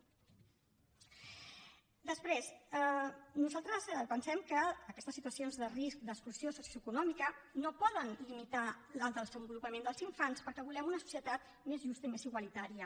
després nosaltres pensem que aquestes situacions de risc d’exclusió socioeconòmica no poden limitar el desenvolupament dels infants perquè volem una societat més justa i més igualitària